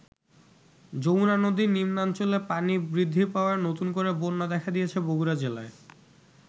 যমুনা নদীর নিম্নাঞ্চলে পানি বৃদ্ধি পাওয়ায় নতুন করে বন্যা দেখা দিয়েছে বগুড়া জেলায়।